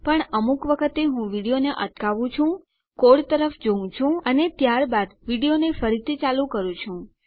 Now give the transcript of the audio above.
પણ અમુક વખતે હું વિડીયોને અટકાવું છું કોડ તરફ જોઉં છું અને ત્યારબાદ વિડીયોને ફરીથી ચાલુ કરું છું